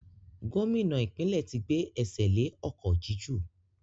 Gómìnà ìpínlẹ̀ tí gbé ẹsẹ̀ le ọ̀kọ̀ jíjù